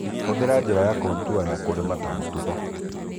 ũthĩra njĩra ya contour ya kũrĩma ta mũtugo